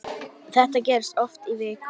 Þetta gerðist oft í viku.